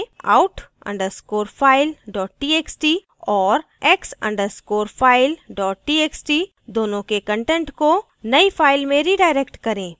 out _ underscore file dot txt और x _ underscore file dot txt दोनोें के content को नई file में redirect करें